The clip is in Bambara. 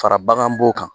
Fara bagan b'o kan